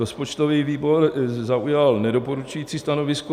Rozpočtový výbor zaujal nedoporučující stanovisko.